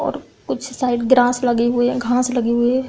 और कुछ शायद ग्रास लगे हुए हे घास लगी हुए है ।